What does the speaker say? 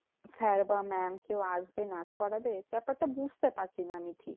Sir বা mam কেউ আসবে নাচ করাবে? ব্যাপারটা বুঝতে পারছিনা আমি।